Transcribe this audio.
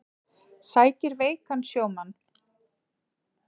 Sækir veikan sjómann